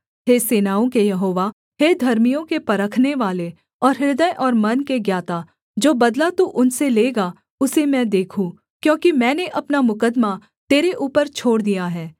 हे सेनाओं के यहोवा हे धर्मियों के परखनेवाले और हृदय और मन के ज्ञाता जो बदला तू उनसे लेगा उसे मैं देखूँ क्योंकि मैंने अपना मुकद्दमा तेरे ऊपर छोड़ दिया है